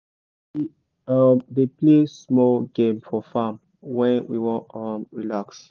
we um dey play small game for farm when we wan um relax.